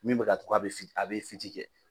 Min bɛ ka to ko a bɛ fi a bɛ fiti kɛ.